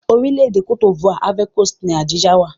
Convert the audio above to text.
Orílẹ̀-èdè Cote D'ivoire (Ivory Coast) ni Abidjan wà.